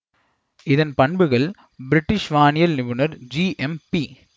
இதன் பண்புகள் பிரிட்டிஷ் வானியல் நிபுணர் ஜி எம் பி